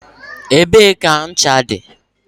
Ebee ka ncha dị?